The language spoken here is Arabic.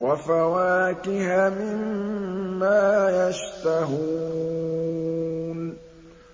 وَفَوَاكِهَ مِمَّا يَشْتَهُونَ